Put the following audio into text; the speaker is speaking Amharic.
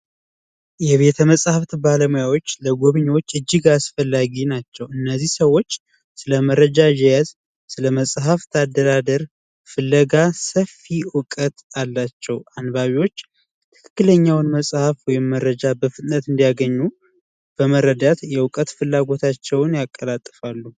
የቤተመፅሀፍ ባለሙያዎች ለጎብኝዎች እጅግ አስፈላጊ ናቸው። እነዚህ ሰዎች ስለመረጃ አያያዝ ስለ መፅሀፍት አደራደር ፍለጋ ሰፊ እውቀት አላቸው። አንባቢዎች ትክክለኛውን መፅሀፍ ወይም መረጃ በፍጥነት እንዲያገኙ በመረዳት የእውቀት ፍላጎታቸውን ያቀላጥፋሉ።